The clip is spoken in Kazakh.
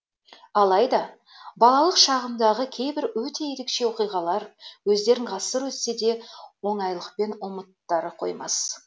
алайда балалық шағымдағы кейбір өте ерекше оқиғалар өздерін ғасыр өтсе де оңайлықпен ұмыттыра қоймас